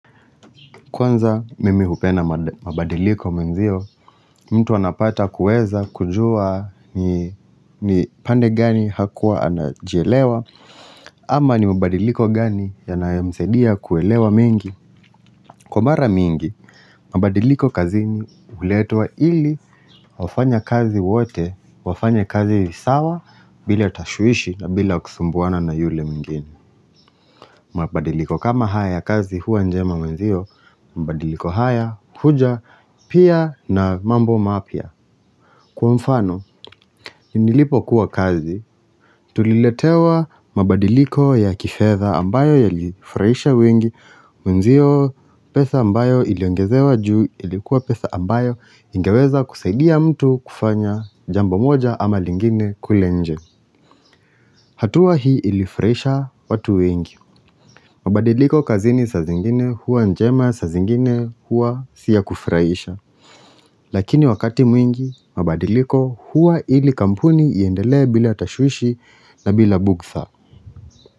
Kwanza mimi hupenda mabadiliko menzio, mtu anapata kueza kujua ni pande gani hakuwa anajielewa ama ni mabadiliko gani yanayemsaidia kuelewa mengi Kwa mara mingi, mabadiliko kazini uletwa ili wafanyakazi wote, wafanye kazi sawa bila tashwishi na bila kusumbuwana na yule mwingine mabadiliko kama haya ya kazi huwa njema wenzio, mabadiliko haya, huja, pia na mambo mapia. Kwa mfano, nilipo kuwa kazi, tuliletewa mabadiliko ya kifedha ambayo yalifuraisha wengi, wenzio pesa ambayo iliongezewa juu ilikuwa pesa ambayo ingeweza kusaidia mtu kufanya jambo moja ama lingine kule nje. Hatua hii ilifuraisha watu wengi. Mabadiliko kazini saa zingine huwa njema saa zingine huwa si yakufuraisha. Lakini wakati mwingi mabadiliko huwa ili kampuni iendelee bila tashwishi na bila bugtha.